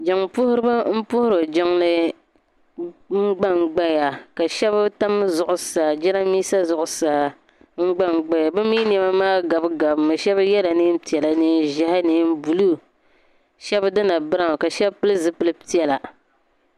Jiŋ puhiriba n puhiri jiŋli n gban gbaya ka shɛba tam zuɣusaa jɛrambisa zuɣusaa n gban gbaya bɛ mii nema maa gabi gabi mi bɛ yɛla neen piɛlla neen ʒeehi neen buluu shɛba dina brawn ka shɛba pili zipili piɛlla.